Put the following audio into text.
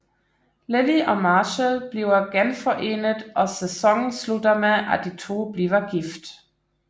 Lily og Marshall bliver genforenet og sæsonen slutter med at de to bliver gift